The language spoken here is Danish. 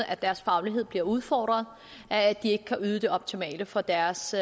at deres faglighed bliver udfordret af at de ikke kan yde det optimale for deres